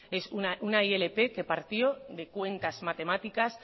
es una ilp que partió de cuentas matemáticas